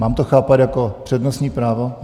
Mám to chápat jako přednostní právo?